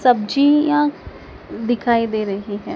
सब्जियां दिखाई दे रही हैं।